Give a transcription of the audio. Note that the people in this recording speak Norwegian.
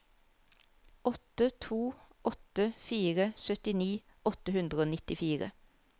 åtte to åtte fire syttini åtte hundre og nittifire